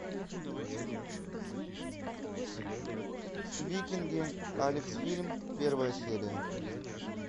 викинги алекс фильм первая серия